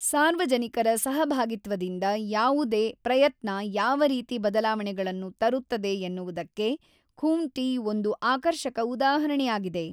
ಸಾರ್ವಜನಿಕರ ಸಹಭಾಗಿತ್ವದಿಂದ ಯಾವುದೇ ಪ್ರಯತ್ನ ಯಾವರೀತಿ ಬದಲಾವಣೆಗಳನ್ನು ತರುತ್ತದೆ ಎನ್ನುವುದಕ್ಕೆ ಖೂಂಟಿ ಒಂದು ಆಕರ್ಷಕ ಉದಾಹರಣೆಯಾಗಿದೆ.